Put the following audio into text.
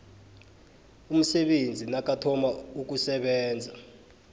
umsebenzi nakathoma ukusebenza